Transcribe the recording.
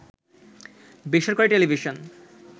বেসরকারি টেলিভিশন